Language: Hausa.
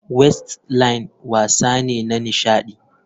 Wrestling wasa ne na nishadi.